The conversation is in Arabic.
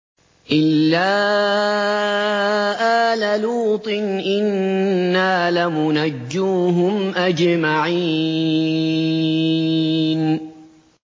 إِلَّا آلَ لُوطٍ إِنَّا لَمُنَجُّوهُمْ أَجْمَعِينَ